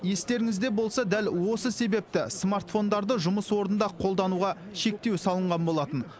естеріңізде болса дәл осы себепті смартфондарды жұмыс орнында қолдануға шектеу салынған болатын